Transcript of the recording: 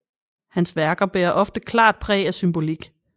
Hans værker bærer ofte klart præg af symbolik